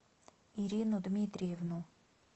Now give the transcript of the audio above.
ирину дмитриевну